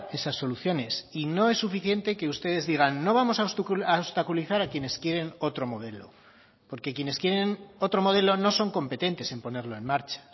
esas soluciones y no es suficiente que ustedes digan no vamos a obstaculizar a quienes quieren otro modelo porque quienes quieren otro modelo no son competentes en ponerlo en marcha